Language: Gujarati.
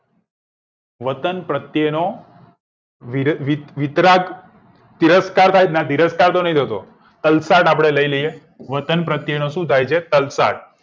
વતન પ્ર્તેનો વિતરાક તિરસ્કાર થાયના તિરસ્કાર તલસાદતો નહિ થતો આપણે લઇ લીએ વતન પ્ર્તેનો સુ થાય છે તલસાદ